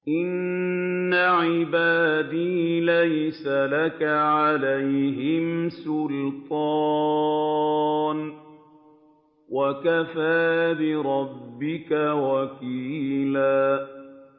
إِنَّ عِبَادِي لَيْسَ لَكَ عَلَيْهِمْ سُلْطَانٌ ۚ وَكَفَىٰ بِرَبِّكَ وَكِيلًا